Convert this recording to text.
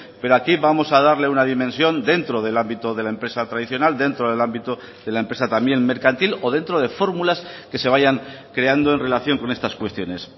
pero aquí vamos a darle una dimensión dentro del ámbito de la empresa tradicional dentro del ámbito de la empresa también mercantil o dentro de fórmulas que se vayan creando en relación con estas cuestiones